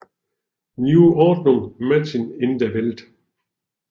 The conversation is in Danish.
Neu Ordnung machen in der Welt